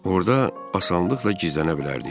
orda asanlıqla gizlənə bilərdik.